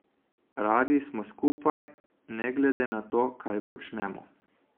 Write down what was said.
Radi smo skupaj, ne glede na to, kaj počnemo.